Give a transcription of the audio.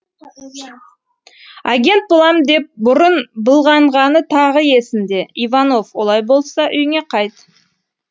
агент болам деп бүрын былғанғаны тағы есінде иванов олай болса үйіңе қайт